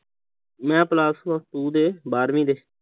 ਮੈਂ plus two ਦੇ ਬਾਰਵੀਂ ਦੇ